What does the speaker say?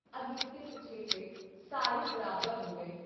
ਅਗੇਤੇ-ਪਛੇਤੇ ਸਾਰੇ ਬਰਾਬਰ ਹੋ ਗਏ।